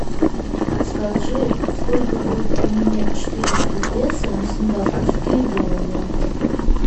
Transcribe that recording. подскажи сколько будет поменять четыреста песо на сингапурские доллары